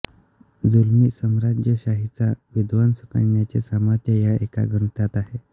जुलमी साम्राज्यशाहीचा विध्वंस करण्याचे सामर्थ्य या एका ग्रंथात आहे